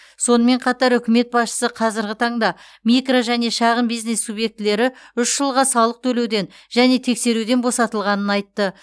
сонымен қатар үкімет басшысы қазіргі таңда микро және шағын бизнес субъектілері үш жылға салық төлеуден және тексеруден босатылғанын айтты